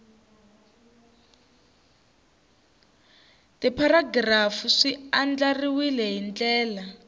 tipharagirafu swi andlariwile hi ndlela